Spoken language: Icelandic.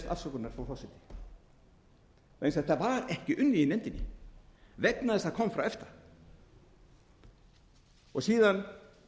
afsökunar frú forseti vegna þess að þetta var ekki unnið í nefndinni vegna þess að það kom frá efta síðan